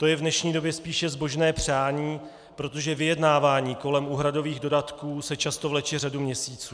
To je v dnešní době spíše zbožné přání, protože vyjednávání kolem úhradových dodatků se často vleče řadu měsíců.